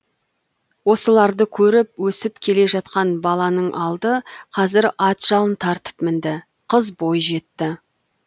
осыларды көріп өсіп келе жатқан баланың алды қазір ат жалын тартып мінді қыз бойжетті